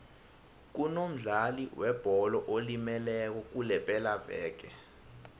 kunomdlali webholo olimeleko kulepelaveke